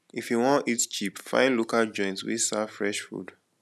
if you wan eat cheap find local joint wey serve fresh food